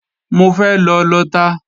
Mo fẹ́ lọ lọta